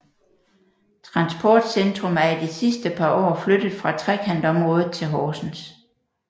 Transportcentrum er i de sidste par år flyttet fra Trekantområdet til Horsens